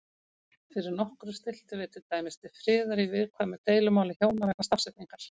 Fyrir nokkru stilltum við til dæmis til friðar í viðkvæmu deilumáli hjóna vegna stafsetningar.